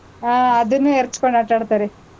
ಹ್ಮ್ ಅದುನೂ ಎರಚ್ಕೊಂಡ್ ಆಟಾಡ್ತಾರೆ.